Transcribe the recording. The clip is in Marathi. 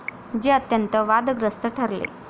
जे अत्यंत वादग्रस्त ठरले.